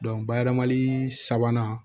bayɛlɛmali sabanan